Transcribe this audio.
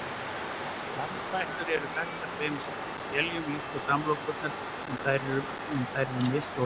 armfætlur eru þaktar tveimur skeljum líkt og samlokurnar en þær eru misstórar